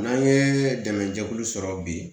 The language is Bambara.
N'an ye dɛmɛjɛkulu sɔrɔ bi